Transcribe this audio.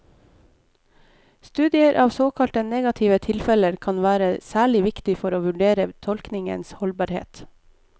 Studier av såkalte negative tilfeller kan være særlig viktig for å vurdere tolkningens holdbarhet.